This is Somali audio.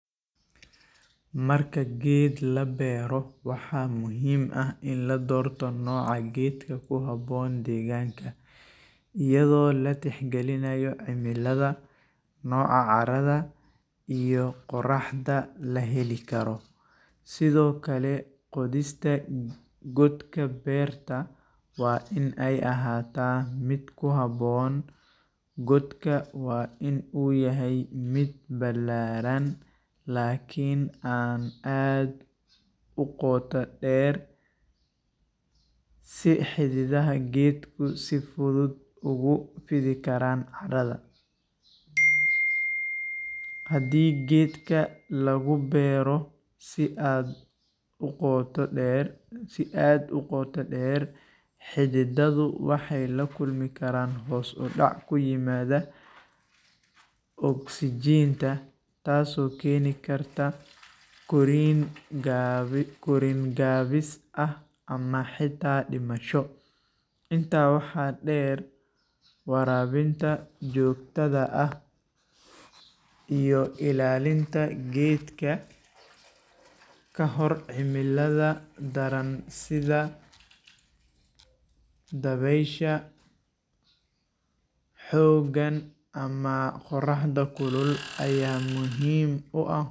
Marka geed labero waxaa muhiim ah in ladorto noca geedka kuhabon deganka iyado la tixgalinaya cimilaada noca caraada iyo qoraxda laheli karo, sithokale qodhista godka beerta waa in ee ahata miid ku habon, godka waa in u yahay mid balaran lakin in an aad uqotader si xididaha geedku si fudud ugu fidi karan caradha, hadii geedka lagu beero si aad uqota deer xididadhu waxee lakulmi karan hos udac ku imadha oxygen ta korin gawis ah ama xita dimasho, inta waxaa deer warabinta jogtadha ah iyo ilalinta geedka kahor cimilaadha daran sitha dawesha xogan ama qoraxda kulul aya muhiim u ah.